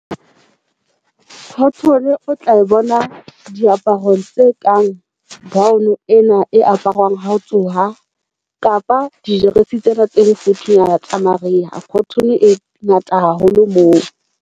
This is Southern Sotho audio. Khothone o tla e bona diaparong tse kang gown ena tse aparwang ha o tsoha kapa dijeresi tsena tse mofuthunyana tsa mariha khothone e ngata haholo moo.